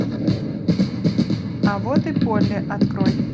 а вот и полли открой